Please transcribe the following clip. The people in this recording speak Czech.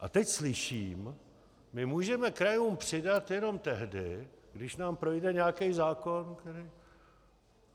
A teď slyším: my můžeme krajům přidat jenom tehdy, když nám projde nějaký zákon.